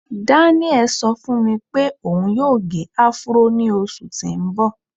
Daniel ṣọ fún mi pé òun yóò gẹ áfúró ní oṣù tí ń bọ̀.